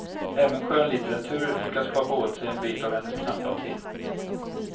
Även skönlitteratur lyckas kapa åt sig en bit av hennes knappa tid.